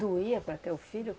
Doía para ter o filho?